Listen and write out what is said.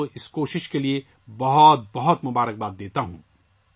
میں اس کوشش کے لیے یہاں کے لوگوں کو مبارکباد دیتا ہوں